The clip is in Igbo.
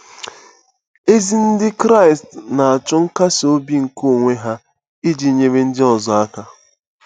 Ezi Ndị Kraịst na-achụ nkasi obi nke onwe ha iji nyere ndị ọzọ aka.